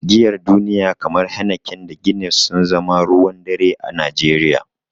Giyar duniya kamar Heineken da Guinness sun zama ruwan dare a Najeriya.